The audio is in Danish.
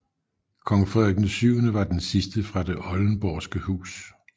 Kong Frederik VII var den sidste fra Det Oldenborgske Hus